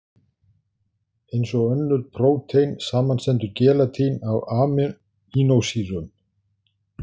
Eins og önnur prótein, samanstendur gelatín af amínósýrum.